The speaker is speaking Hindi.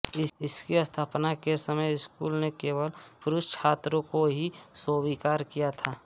इसकी स्थापना के समय स्कूल ने केवल पुरुष छात्रों को ही स्वीकार किया था